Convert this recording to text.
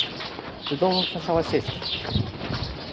ты должен сначала сесть